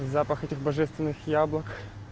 запах этих божественных яблок